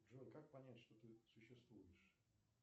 джой как понять что ты существуешь